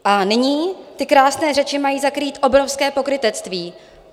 A nyní ty krásné řeči mají zakrýt obrovské pokrytectví.